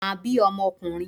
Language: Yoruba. Màá bí ọmọ okùnrin